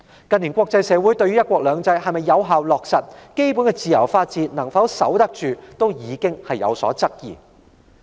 近年國際社會對"一國兩制"能否有效落實，基本的自由法治能否守得住已有所質疑。